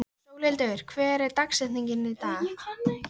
Sólhildur, hver er dagsetningin í dag?